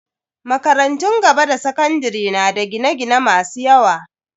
Makarantun gaba da sakandare na da gine-gine masu yawa.